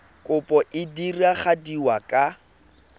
kopo e e diragadiwa ka